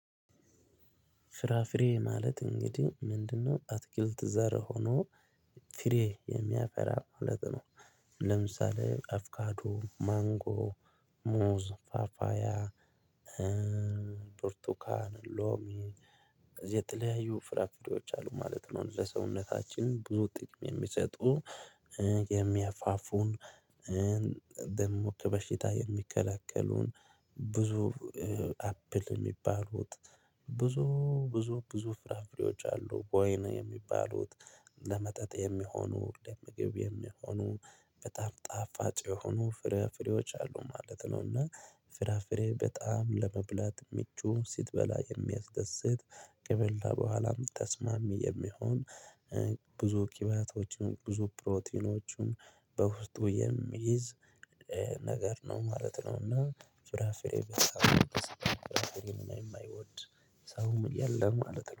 ፍራፍሬ ማለት እንግዲህ ምንድነው? አትክልት ዘር ሆኖ ፍሬ የሚያፈራ ማለት ነው። ለምሳሌ አፍካዱ ማንጎ ሙዝ ፓፓያ ብርቱካን ሎሚ የተለያዩ ፍራፍሬዎች አሉ ማለት ነው። ለሰውነታችን ብዙ ጥቅም የሚሰጡ የሚያፋፉን ደሞ ከበሽታ የሚከላከሉን። ብዙ አፕል የሚባሉት ብዙ ብዙ ብዙ ፍራፍሬዎች አሉ ወይን የሚባሉት ለመጠጥ የሚሆኑ ለምግብ የሚሆኑ በጣም ጣፋጭ የሆኑ ፍራፍሬዎች አሉ ማለት ነው። እና ፍራፍሬ በጣም ለመብላት ምቹ ስትበላ የሚያስደስት ከበላ በኋላም ተስማሚ የሚሆን። ብዙ ቂባቶችም ብዙ ፕሮቲኖችም በውስጡ የሚይዝ ነገር ነው ማለት ነው። እና ፍራፍሬ ማይወድ ሰውም የለም ማለት ነው